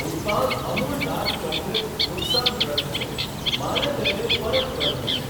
ઉત્પાદ Amul dark chocolate નુકસાનગ્રસ્ત છે, મારે તેને પરત કરવું છે.